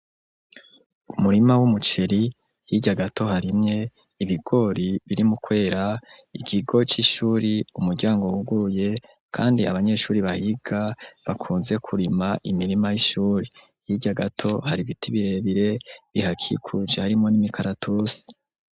Umurima wumuceri , hirya gato harimwe ibigori , biri mu kwera , ikigo c'ishuri. Umuryango wuguruye, kandi abanyeshure bahiga , bakunze kurima imirima yishure. Hirya gato hari ibiti birebire hihakikuje harimwo nimikaratusi.